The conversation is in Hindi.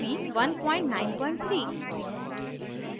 ruby 193